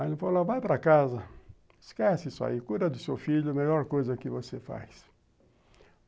Aí ele falou, vai para casa, esquece isso aí, cura do seu filho, é a melhor coisa que você faz.